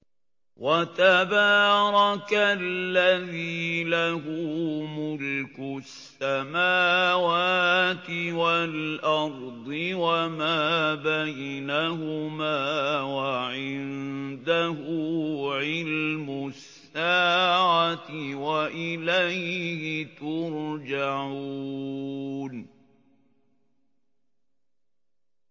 وَتَبَارَكَ الَّذِي لَهُ مُلْكُ السَّمَاوَاتِ وَالْأَرْضِ وَمَا بَيْنَهُمَا وَعِندَهُ عِلْمُ السَّاعَةِ وَإِلَيْهِ تُرْجَعُونَ